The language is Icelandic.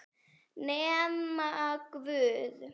Nema guð.